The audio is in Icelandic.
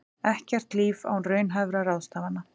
Ekkert líf án raunhæfra ráðstafana